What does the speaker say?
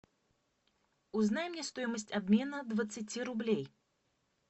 узнай мне стоимость обмена двадцати рублей